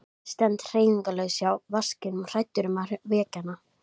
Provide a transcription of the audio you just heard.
Ég stend hreyfingarlaus hjá vaskinum hræddur um að vekja hana.